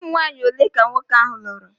Ụmụnwanyị ole ka nwoke ahụ lụrụ?